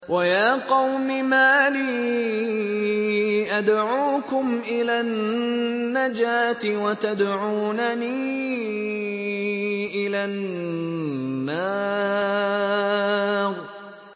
۞ وَيَا قَوْمِ مَا لِي أَدْعُوكُمْ إِلَى النَّجَاةِ وَتَدْعُونَنِي إِلَى النَّارِ